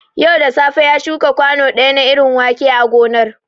Yau da safe ya shuka kwanu ɗaya na irin wake a gonar